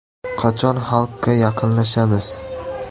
Qachon xalqqa yaqinlashamiz?